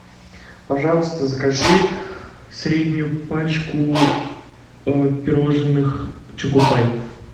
пожалуйста закажи среднюю пачку пирожных чокопай